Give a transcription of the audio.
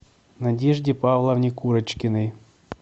надежде павловне курочкиной